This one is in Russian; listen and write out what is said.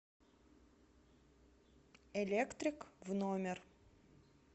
электрик в номер